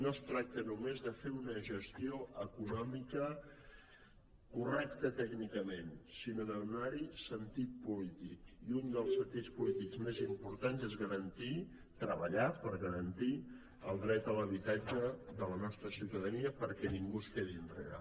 no es tracta només de fer una gestió econòmica correcta tècnicament sinó de donar hi sentit polític i un dels sentits polítics més importants és treballar per garantir el dret a l’habitatge de la nostra ciutadania perquè ningú es quedi enrere